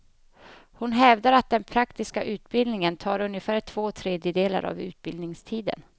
Hon hävdar att den praktiska utbildningen tar ungefär två tredjedelar av utbildningstiden.